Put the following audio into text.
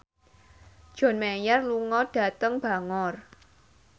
John Mayer lunga dhateng Bangor